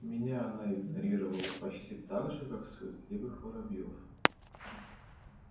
меня она игнорировала почти так же как суетливых воробьёв